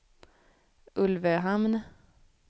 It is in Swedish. Ulvöhamn